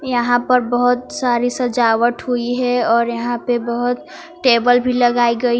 यहां पर बहोत सारी सजावट हुई है और यहां पे बहोत टेबल भी लगाई गई--